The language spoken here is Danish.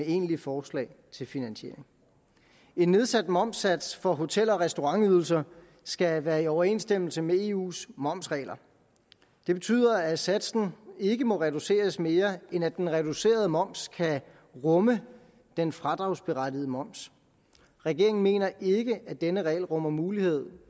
egentlige forslag til finansiering en nedsat momssats for hotel og restaurantydelser skal være i overensstemmelse med eus momsregler det betyder at satsen ikke må reduceres mere end at den reducerede moms kan rumme den fradragsberettigede moms regeringen mener ikke at denne regel rummer muligheder